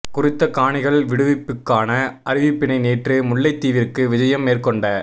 குறித்த காணிகள் விடுவிப்புக்கான அறிவிப்பினை நேற்று முல்லைத்தீவிற்கு விஜயம் மேற்கொண்ட